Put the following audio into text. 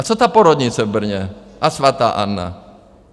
A co ta porodnice v Brně a Svatá Anna?